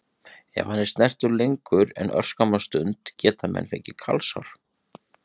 Ef hann er snertur lengur en örskamma stund geta menn fengið kalsár.